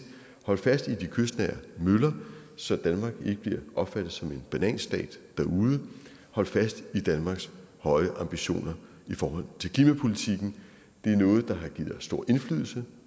hold fast i de kystnære møller så danmark ikke bliver opfattet som en bananstat derude hold fast i danmarks høje ambitioner i forhold til klimapolitikken det er noget der har givet os stor indflydelse